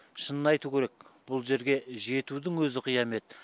шынын айту керек бұл жерге жетудің өзі қиямет